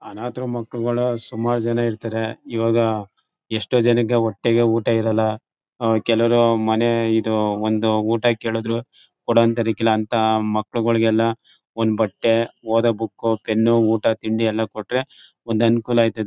ಅನಾಥರು ಮಕ್ಕಳುಗಳು ಸುಮಾರ್ ಜನ ಇರ್ತರೆ ಈವಾಗ ಎಷ್ಟೋ ಜನಕ್ಕೆ ಹೊಟ್ಟೆಗೆ ಊಟ ಇರಲ್ಲ ಆಹ್ಹ್ ಕೆಲವ್ರು ಮನೆ ಇದು ಒಂದು ಊಟ ಕೇಳಿದ್ರು ಕೊಡೋ ಅಂಥಾದಕ್ಕಿಲ್ಲ ಅಂಥ ಮಕ್ಕಳುಗಳಿಗೆಲ್ಲ ಒಂದು ಬಟ್ಟೆ ಓದೋ ಬುಕ್ ಪೆನ್ನು ಊಟ ತಿಂಡಿ ಎಲ್ಲಾ ಕೊಟ್ರೆ ಒಂದ್ ಅನುಕೂಲ ಆಯ್ತದೆ.